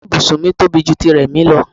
Ìyára ibùsùn mi tóbi ju ti Rẹ̀mí lọ.